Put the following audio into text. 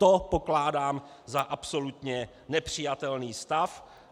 To pokládám za absolutně nepřijatelný stav.